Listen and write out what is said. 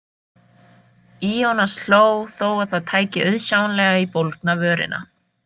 Ionas hló þó að það tæki auðsjáanlega í bólgna vörina.